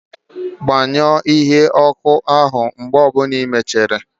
Gbanyụọ igwe ọkụ áhụ̀ mgbe ọ bụla ịmechara!